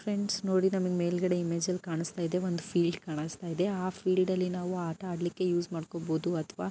friends ನೋಡಿ ನಮಗೆ ಮೇಲ್ಗಡೆ ಇಮೇಜ್ ಅಲ್ಲಿ ಕಾಣಿಸುತ್ತಾ ಇದೆ ಫೀಲ್ಡ್ ಕಾಣಿಸ್ತಾ ಇದೆ ಆ ಫೀಲ್ಡ್ ಅಲ್ಲಿ ನಾವು ಆಟ ಆಡಲಿಕ್ಕೆ ಯೂಸ್ ಮಾಡ್ಕೋಬಹುದು ಅಥವಾ --